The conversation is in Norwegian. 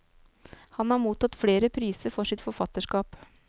Han har mottatt flere priser for sitt forfatterskap.